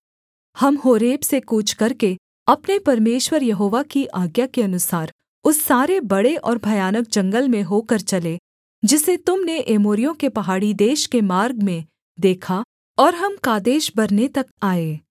हम होरेब से कूच करके अपने परमेश्वर यहोवा की आज्ञा के अनुसार उस सारे बड़े और भयानक जंगल में होकर चले जिसे तुम ने एमोरियों के पहाड़ी देश के मार्ग में देखा और हम कादेशबर्ने तक आए